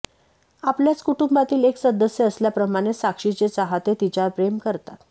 आपल्याच कुटुंबातील एक सदस्य असल्याप्रमाणे साक्षीचे चाहते तिच्यावर प्रेम करतात